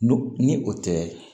Nu ni o tɛ